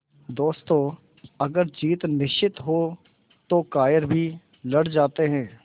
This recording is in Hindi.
दोस्तों अगर जीत निश्चित हो तो कायर भी लड़ जाते हैं